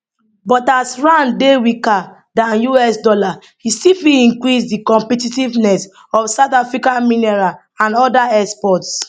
but as rand dey weaker dan us dollar e still fit increase di competitiveness of south african mineral and oda exports